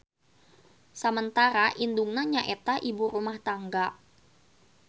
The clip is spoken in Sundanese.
Samentara indungna nyaeta ibu rumah tangga.